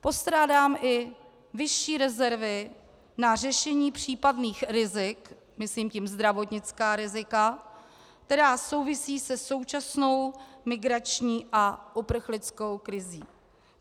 Postrádám i vyšší rezervy na řešení případných rizik, myslím tím zdravotnická rizika, která souvisejí se současnou migrační a uprchlickou krizí.